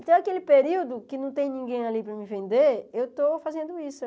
Então, aquele período que não tem ninguém ali para me vender, eu estou fazendo isso.